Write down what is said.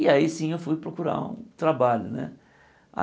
E aí sim eu fui procurar um trabalho né.